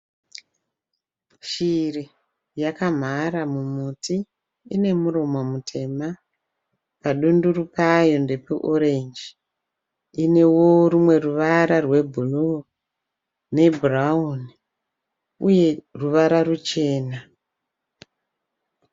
Shiri yakamhara mumuti. Ine muromo mutema . Padunduru payo ndepeorenji. Inewo rumwe ruvara rwebhuruu nebhurawuni uye ruvara ruchena.